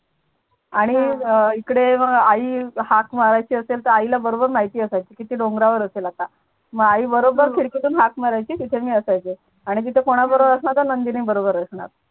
आणि अह इकडे मग आई हाक मारायची असेल तर आईला बरोबर माहिती असायचं ती डोंगरावर असेल आता मग आई बरोबर खिडकीतून हाक मारायची तिथे मी असायचे आणि तिथे कुणाबरोबर असणार तर नंदिनी बरोबर असणार.